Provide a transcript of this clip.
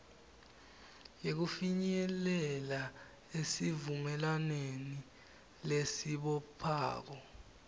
yekufinyelela esivumelwaneni lesibophako